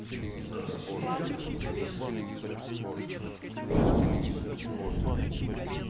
только это все вежливо конечно и все нормально